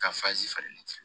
Ka fasi falen